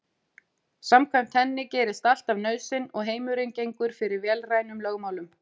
Samkvæmt henni gerist allt af nauðsyn og heimurinn gengur fyrir vélrænum lögmálum.